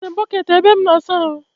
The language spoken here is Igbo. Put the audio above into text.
E, nwere m bọkeeti ebe m n'asa ahụ.